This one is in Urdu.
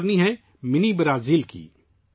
یہ منی برازیل کا متاثر کن سفر ہے